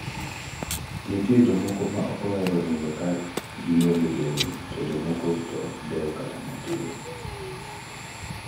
Nitie jomoko ma ok ohero nindo ka gionge lewni to jomoko to ok dew kata matin". Ramlakhan nowacho kamano.